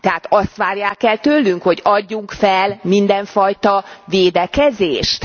Tehát azt várják el tőlünk, hogy adjunk fel mindenfajta védekezést?